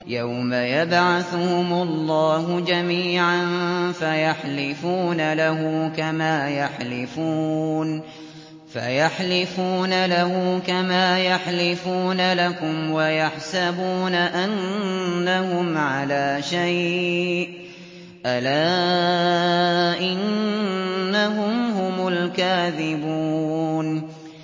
يَوْمَ يَبْعَثُهُمُ اللَّهُ جَمِيعًا فَيَحْلِفُونَ لَهُ كَمَا يَحْلِفُونَ لَكُمْ ۖ وَيَحْسَبُونَ أَنَّهُمْ عَلَىٰ شَيْءٍ ۚ أَلَا إِنَّهُمْ هُمُ الْكَاذِبُونَ